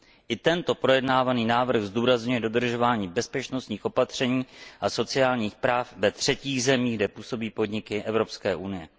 I tento projednávaný návrh zdůrazňuje dodržování bezpečnostních opatření a sociálních práv ve třetích zemích, kde působí podniky Evropské unie.